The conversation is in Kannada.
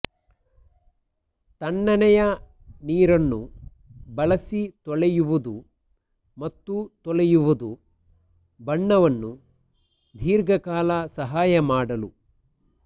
ತಣ್ಣನೆಯ ನೀರನ್ನು ಬಳಸಿ ತೊಳೆಯುವುದು ಮತ್ತು ತೊಳೆಯುವುದು ಬಣ್ಣವನ್ನು ದೀರ್ಘ ಕಾಲ ಸಹಾಯ ಮಾಡಲು